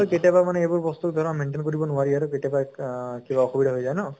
কেতিয়াবা মানে এইবোৰ বস্তু ধৰা maintain কৰিব নোৱাৰি আৰু কেতিয়াবা অহ কিবা অসুবধা হৈ যায় ন?